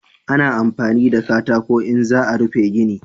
Ana amfani da katako in za a rufe gini